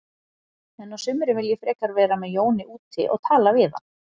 En á sumrin vil ég frekar vera með Jóni úti og tala við hann.